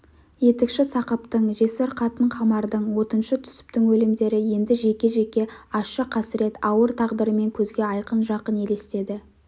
етікші сақыптың жесір қатын қамардың отыншы түсіптің өлімдері енді жеке-жеке ащы қасірет ауыр тағдырымен көзге айқын жақын елестеді